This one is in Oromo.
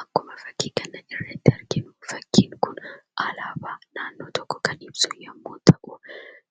Akkuma fakkii kana irratti arginu fakkiin kun alaabaa naannoo tokkoo kan ibsu yommuu ta'u,